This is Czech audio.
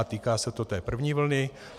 A týká se to té první vlny.